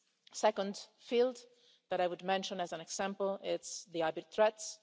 The second field that I would mention as an example is hybrid threats.